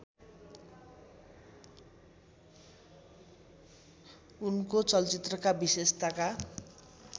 उनको चलचित्रका विशेषताका